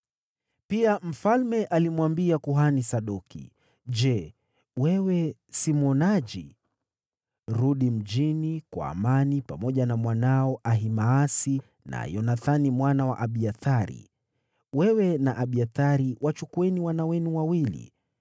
Pia mfalme alimwambia kuhani Sadoki, “Je, wewe si mwonaji? Rudi mjini kwa amani pamoja na mwanao Ahimaasi na Yonathani mwana wa Abiathari. Wewe na Abiathari wachukueni wana wenu wawili.